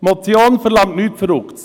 Die Motion verlangt nichts Verrücktes.